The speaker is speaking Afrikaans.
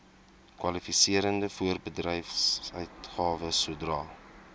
kwalifiserende voorbedryfsuitgawes sodra